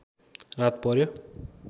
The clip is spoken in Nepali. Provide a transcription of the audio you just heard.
रात पर्‍यो